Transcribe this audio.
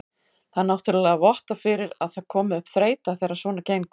Það náttúrulega vottar fyrir að það komi upp þreyta þegar svona gengur.